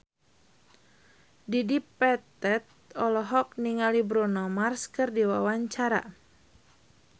Dedi Petet olohok ningali Bruno Mars keur diwawancara